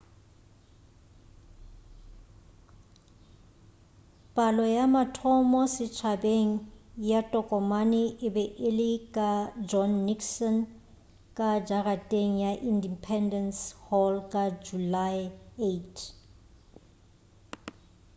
palo ya mathomo setšhabeng ya tokomane e be e le ka john nixon ka jarateng ya independece hall ka julae 8